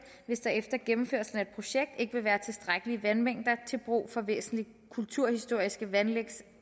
hvis der efter gennemførelse af et projekt ikke vil være tilstrækkelige vandmængder til brug for væsentlige kulturhistoriske vandanlægs